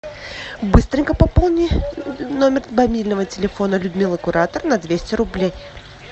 быстренько пополни номер мобильного телефона людмилы куратор на двести рублей